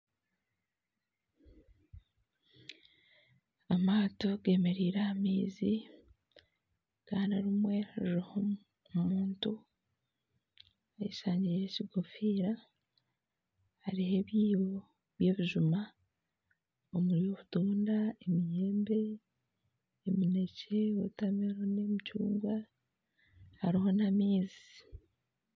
amaato g'emereire aha maizi kandi rimwe ririho omuntu eyeshangiire ekigoofiira hariho ebyibo by'ebijuma omuri obutunda emiyembe, eminekye, wota meloni, emicungwa hariho n'amaizi